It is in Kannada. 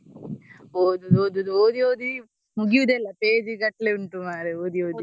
ಓದುದು ಓದುದು ಓದಿ ಓದಿ ಮುಗಿಯುವುದೇ ಇಲ್ಲ page ಗಟ್ಲೆ ಉಂಟು ಮಾರೇ ಓದಿ ಓದಿ.